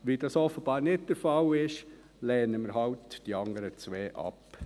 Weil dies offenbar nicht der Fall ist, lehnen wir halt die anderen beiden ab.